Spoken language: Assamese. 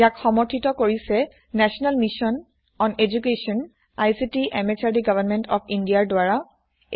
ইয়াক সমৰ্থিত কৰিছে national mission on education ICT MHRD government of Indiaৰ দ্বাৰা